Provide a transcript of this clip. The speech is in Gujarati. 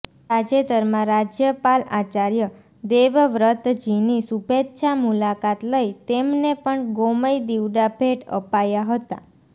તાજેતરમાં રાજપાલ આચાર્ય દેવવ્રતજીની શુભેચ્છા મુલાકાત લઇ તેમને પણ ગોમય દિવડા ભેટ અપાયા હતા